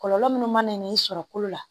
Kɔlɔlɔ minnu mana na i sɔrɔ kolo la